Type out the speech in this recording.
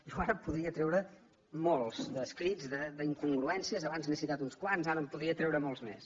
jo ara podria treure molts escrits d’incongruències a bans n’he citat uns quants ara en podria treure molts més